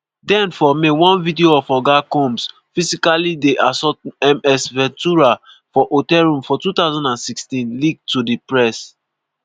den for may one video of oga combs physically dey assault ms ventura for hotel room for 2016 leak to di press.